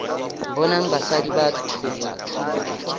bonang basadi ba thopa thuto